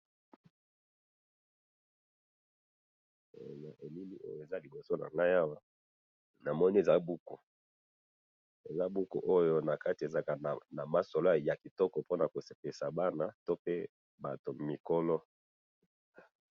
he na bilili oyo ez liboso nangayi awa nazomona ezali buku buku yngo ezalaka ya ko sepelisa bana pe na batu mikolo